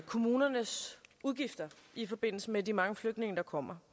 kommunernes udgifter i forbindelse med de mange flygtninge der kommer